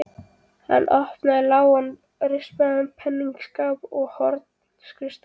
Hann opnaði lágan og rispaðan peningaskáp í horni skrifstofunnar.